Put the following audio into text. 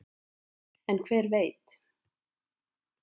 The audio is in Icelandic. en hver veit